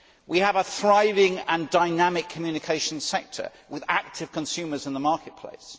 We have a thriving and dynamic communications sector with active consumers in the marketplace.